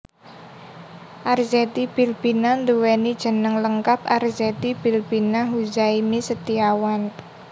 Arzetti Bilbina nduwèni jeneng lengkap Arzetti Bilbina Huzaimi Setiawan